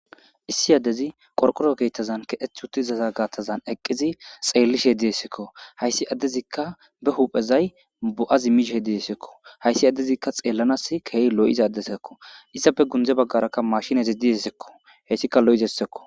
Issi addezi qorqoro keettazan keheth huti izaza gattazan eqqizi xeellishe diyessekko hayssi addezikka be huphezay bo'a zi mishe he diessekko hayssi addezikka xeellanas keei lo'iz addesakko issafe gundze baggaraka mashinezi diessekko heyssika lo'izessekko.